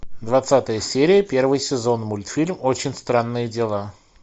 двадцатая серия первый сезон мультфильм очень странные дела